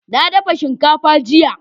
na dafa shinkafa jiya